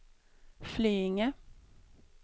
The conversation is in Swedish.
Flyinge